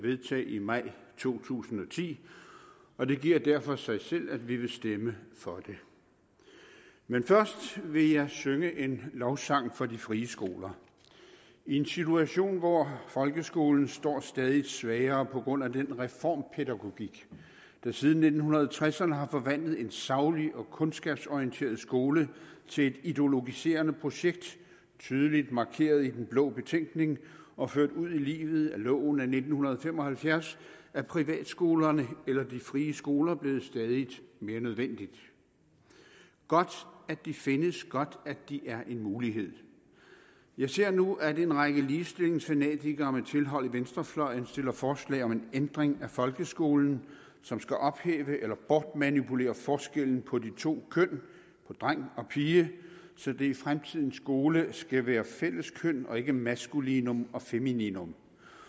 vedtage i maj to tusind og ti og det giver derfor sig selv at vi vil stemme for det men først vil jeg synge en lovsang for de frie skoler i en situation hvor folkeskolen står stadig svagere på grund af den reformpædagogik der siden nitten tresserne har forvandlet en saglig og kundskabsorienteret skole til et ideologiserende projekt tydeligt markeret i den blå betænkning og ført ud i livet ved loven af nitten fem og halvfjerds er privatskolerne eller de frie skoler blevet stadig mere nødvendige godt at de findes godt at de er en mulighed jeg ser nu at en række ligestillingsfanatikere med tilhold i venstrefløjen stiller forslag om en ændring af folkeskolen som skal ophæve eller bortmanipulere forskellen på de to køn på dreng og pige så det i fremtidens skole skal være fælleskøn og ikke maskulinum og femininum